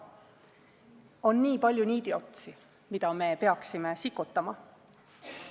On nii palju niidiotsi, mida me peaksime sikutama.